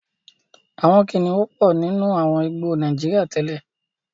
Àwọn kìnnìún pọ̀ nínú àwọn igbó Nàíjíríà tẹ́lẹ̀.